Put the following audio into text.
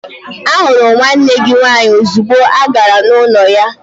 Ahụrụ m nwanne gị nwaanyị ozugbo agara m n'ụlọ ya.